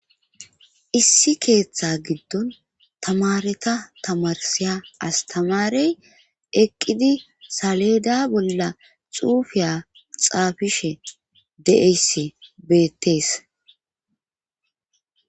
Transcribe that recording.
Issi keeththa giddon tamareta tamarsiya astamarey eqqidi saleeda bolla xuufiya xaafishe deeyssi beettees.